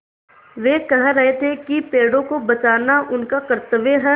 वे कह रहे थे कि पेड़ों को बचाना उनका कर्त्तव्य है